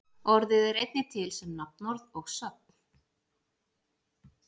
Orðið er einnig til sem nafnorð og sögn.